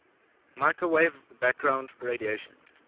microwave background radiation